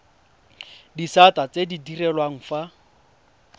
disata tse di direlwang fa